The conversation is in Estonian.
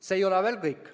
See ei ole veel kõik.